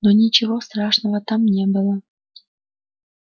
но ничего страшного там не было